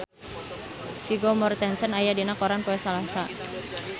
Vigo Mortensen aya dina koran poe Salasa